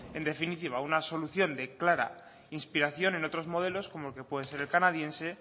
en definitiva una solución de clara inspiración en otro modelos como pueden ser el canadiense